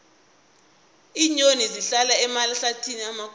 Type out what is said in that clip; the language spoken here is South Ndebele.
iinyoni zihlala emahlathini amakhulu